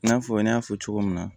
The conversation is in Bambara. I n'a fɔ n y'a fɔ cogo min na